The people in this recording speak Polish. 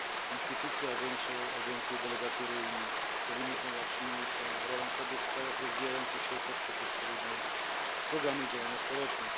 Instytucje, agencje, delegatury Unii powinny promować silniejszą rolę kobiet w krajach rozwijających się poprzez odpowiednie programy i działania społeczne.